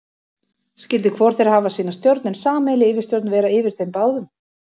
Skyldi hvor þeirra hafa sína stjórn, en sameiginleg yfirstjórn vera yfir þeim báðum.